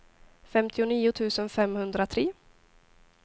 femtionio tusen femhundratre